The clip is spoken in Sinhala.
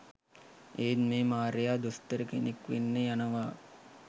එත් මේ මාරයා දොස්තර කෙනෙක් වෙන්න යනවා